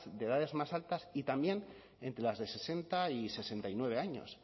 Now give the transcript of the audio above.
de edades más altas y también entre las de sesenta y sesenta y nueve años